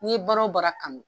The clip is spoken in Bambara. N'i ye baara o baara kanu